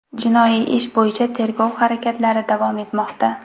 Jinoiy ish bo‘yicha tergov harakatlari davom etmoqda.